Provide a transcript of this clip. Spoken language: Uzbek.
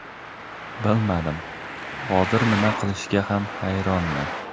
Bilmadim, hozir nima qilishga ham hayronman.